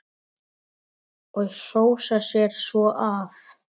Og hrósa sér svo af.